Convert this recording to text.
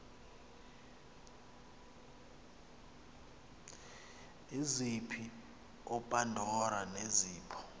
izipho upandora nezipho